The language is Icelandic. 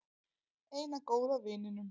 Eina góða vininum.